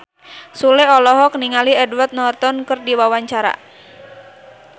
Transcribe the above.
Sule olohok ningali Edward Norton keur diwawancara